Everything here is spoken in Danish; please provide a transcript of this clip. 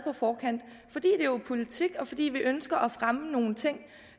politik og fordi vi ønsker at fremme nogle ting